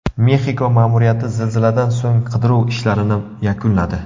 Mexiko ma’muriyati zilziladan so‘ng qidiruv ishlarini yakunladi.